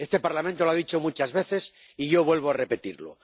Este Parlamento lo ha dicho muchas veces y yo vuelvo a repetirlo.